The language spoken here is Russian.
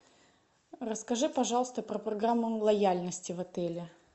расскажи пожалуйста про программу лояльности в отеле